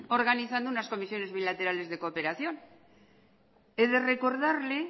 organizando unas comisiones bilaterales de cooperación he de recordarle